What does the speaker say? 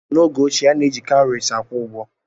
N'oge ochie, a na-eji kawuries akwụ ụgwọ.